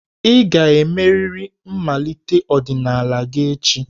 Ị ga-emerịrị mmalite ọdịnala gị echi!